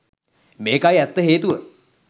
මේකයි ඇත්ත හේතුව